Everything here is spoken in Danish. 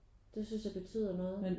Det synes jeg betyder noget